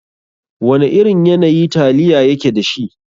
Wana irin yanayi taliya yake dashi?